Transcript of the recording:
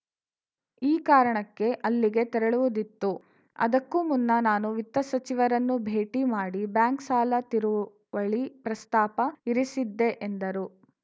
ಈ ಕಾರಣಕ್ಕೆ ಅಲ್ಲಿಗೆ ತೆರಳುವುದಿತ್ತು ಅದಕ್ಕೂ ಮುನ್ನ ನಾನು ವಿತ್ತ ಸಚಿವರನ್ನು ಭೇಟಿ ಮಾಡಿ ಬ್ಯಾಂಕ್‌ ಸಾಲ ತಿರುವಳಿ ಪ್ರಸ್ತಾಪ ಇರಿಸಿದ್ದೆ ಎಂದರು